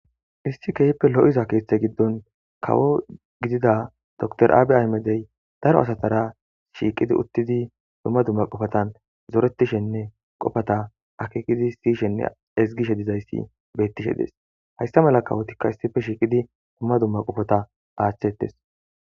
iIssi kehippe lo7iza kithe giddon kawo gidida dr aabi aymedey daro asatara shiiqidi uttidi dumma dumma qofatan zoretishenne qofata akikidi siyshenne ezgishe dizayssi bettishe dees hayssa mala kawotikka issife shiiqidi dumma dumma qofota aaththettes.